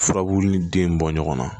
Furabulu ni den bɔ ɲɔgɔn na